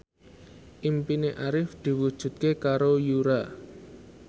impine Arif diwujudke karo Yura